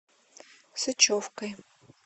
сычевкой